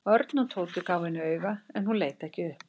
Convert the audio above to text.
Örn og Tóti gáfu henni auga en hún leit ekki upp.